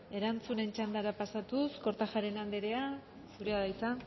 erantzunen txandara pasatuz kortajarena andrea zurea da hitza